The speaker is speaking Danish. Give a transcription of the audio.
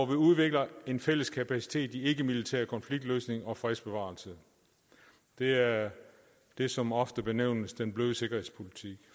vi udvikler en fælles kapacitet i ikkemilitær konfliktløsning og fredsbevarelse det er det som oftest benævnes den bløde sikkerhedspolitik